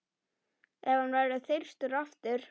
Ef hann verður þyrstur aftur.